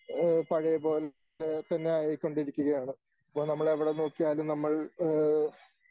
ഏഹ് പഴയ പോലെ തന്നെ ആയിക്കൊണ്ടിരിക്കുകയാണ്. ഇപ്പോ നമ്മൾ എവിടെ നോക്കിയാലും നമ്മൾ ഏഹ്